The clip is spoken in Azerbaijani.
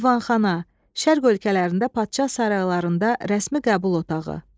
Divanxana, şərq ölkələrində padşah saraylarında rəsmi qəbul otağı.